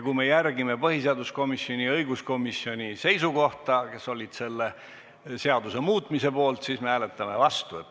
Kui me järgime põhiseaduskomisjoni ja õiguskomisjoni ettepanekut seda seadust muuta, siis me hääletame vastu.